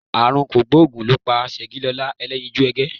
Àrùn kògbóògùn ló pa Ṣẹ̀gilọlá Ẹlẹ́yinjú Ẹgẹ́